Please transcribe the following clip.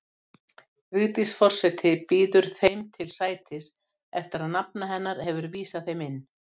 Vigdís forseti býður þeim til sætis, eftir að nafna hennar hefur vísað þeim inn.